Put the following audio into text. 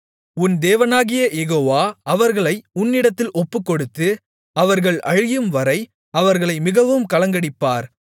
உன் தேவனாகிய யெகோவா அவர்களை உன்னிடத்தில் ஒப்புக்கொடுத்து அவர்கள் அழியும்வரை அவர்களை மிகவும் கலங்கடிப்பார்